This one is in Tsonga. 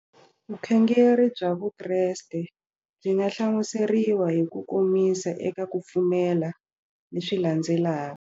Vukhongeri bya Vukreste byi nga hlamuseriwa hi kukomisa eka ku pfumela leswi landzelaka.